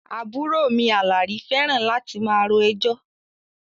Àbúrò mi Àlàrí fẹ́ràn láti máa ro ẹjọ́